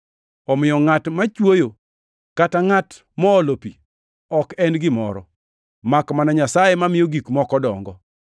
Omiyo ngʼat mochwoyo kata ngʼat moolo pi ok en gimoro, makmana Nyasaye, mamiyo gik moko dongo.